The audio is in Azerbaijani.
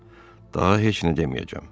Daha heç nə deməyəcəm.